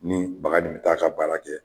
Ni baga nin t'a ka baara kɛ